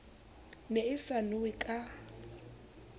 ne e sa nowe ka